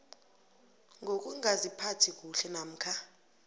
ngokungaziphathi kuhle namkha